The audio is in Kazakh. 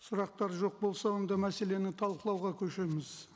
сұрақтар жоқ болса онда мәселені талқылауға көшеміз